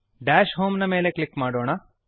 dash home ನ ಮೇಲೆ click ಮಾಡೋಣ